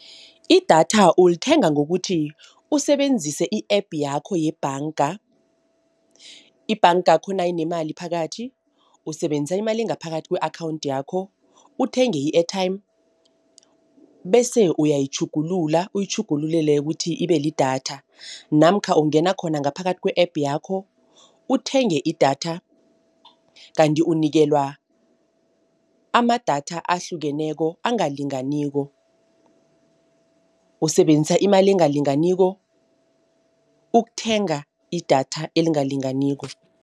Idatha ulithenga ngokuthi usebenzise i-app yakho yebhanga. Ibhangakho nayinemali phakathi usebenzisa imali engaphakathi kwe-akhawunthi yakho uthenge i-airtime, bese uyayitjhugulula uyitjhugululele kuthi ibelidatha. Namkha ungena khona ngaphakathi kwe-app yakho uthenge idatha, kanti unikelwa amadatha ahlukeneko, angalinganiko, usebenzisa imali engalinganiko, ukuthenga idatha elingalinganiko.